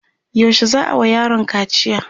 yaushe za'a wa yaron kaciya?